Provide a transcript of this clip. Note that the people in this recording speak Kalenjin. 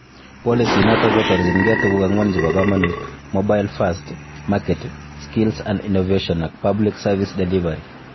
Policy inoto kotorjingei tuguk ang'wan chebo komonut :Mobile First, Market ,Skills and Innovation ak Public Service Delivery